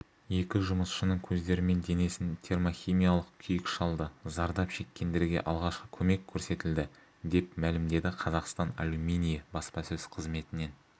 екі жұмысшының көздері мен денесін термохимиялық күйік шалды зардап шеккендерге алғашқы көмек көрсетілді деп мәлімдеді қазақстан алюминиі баспасөз қызметінен